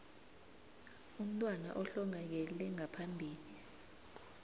umntwana ohlongakele ngaphambi